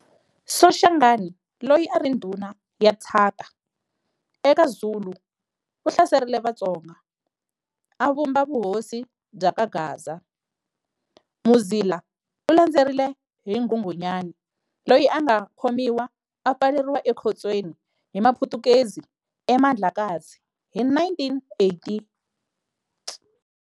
Soshangana loyi a ri ndhuna ya Tshaka, eka Zulu u hlaserile Vatsonga, a vumba vuhosi bya ka Gaza. Muzila u landzeriwile hi Nghunghunyane, loyi a nga khomiwa a pfaleriwa ekhotsweni hi Maputukezi eMandlakazi hi 1895.